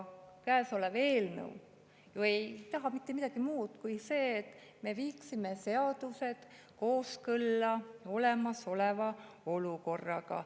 Käesolev eelnõu ei taha mitte midagi muud kui seda, et me viiksime seadused kooskõlla olemasoleva olukorraga.